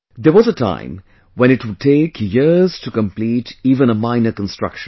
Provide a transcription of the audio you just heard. There was a time when it would take years to complete even a minor construction